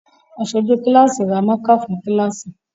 Aṣojú kíláàsì ra mákà fún kíláàsì